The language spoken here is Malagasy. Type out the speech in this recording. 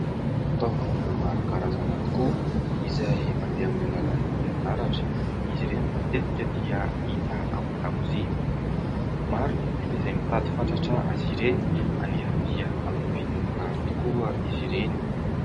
Fitaovana maro karazana tokoa izay mandeha amin'ny alalan'ny herinaratra, izy ireny matetika dia hita ao an-dakozia. Maro ny olona izay mitady fatratra azy ireny anefa dia amin'ny vidiny mirary tokoa izy ireny.